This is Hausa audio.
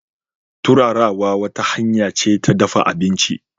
Turarawa wata hanya ce ta dafa abinci.